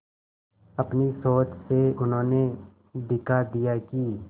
अपनी सोच से उन्होंने दिखा दिया कि